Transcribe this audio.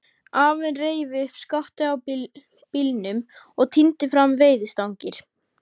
Afinn reif upp skottið á bílnum og tíndi fram veiðistangir.